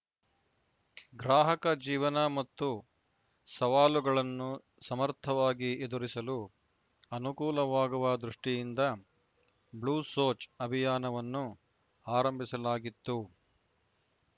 ಗ್ರಾಹಕ ಜೀವನ ಮತ್ತು ಸವಾಲುಗಳನ್ನು ಸಮರ್ಥವಾಗಿ ಎದುರಿಸಲು ಅನುಕೂಲವಾಗುವ ದೃಷ್ಟಿಯಿಂದ ಬ್ಲೂ ಸೋಚ್‌ ಅಭಿಯಾನವನ್ನು ಆರಂಭಿಸಲಾಗಿತ್ತು